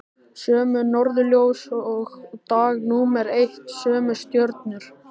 Sömu norðurljós og dag númer eitt, sömu stjörnur.